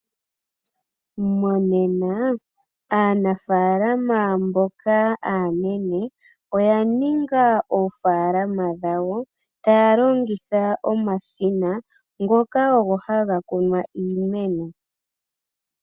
Monena aanafalama mboka aanene, oya ninga oofalama dhawo, taya longitha omashina ngoka ogo haga kunu iimeno.